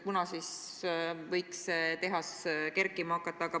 Kunas siis võiks see tehas kerkima hakata?